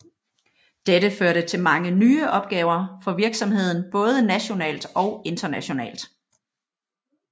Dette førte til mange nye opgaver for virksomheden både nationalt og internationalt